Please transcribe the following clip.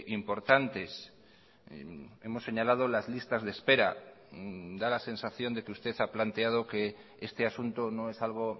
importantes hemos señalado las listas de espera da la sensación de que usted ha planteado que este asunto no es algo